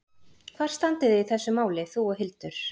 Hvar standið þið í þessum máli, þú og Hildur?